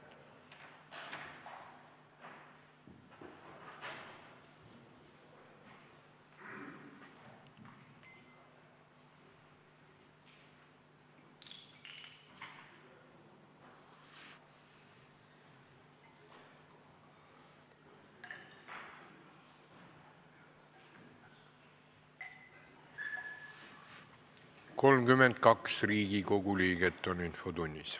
Kohaloleku kontroll 32 Riigikogu liiget on infotunnis.